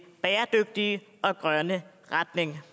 bæredygtige og grønne retning